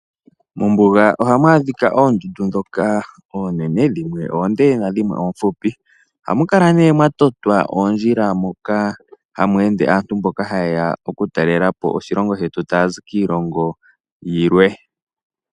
Mombuga ohamu adhika oondundu ndhoka oonene dhimwe oonde nadhimwe oofupi. Ohamu kala nee mwa totwa oondjila moka hamu ende aantu mboka ha yeya oku talela po oshilongo shetu taya zi kiilongo yilwe .